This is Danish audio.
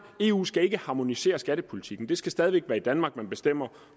eu skal ikke harmonisere skattepolitikken det skal stadig væk være i danmark man bestemmer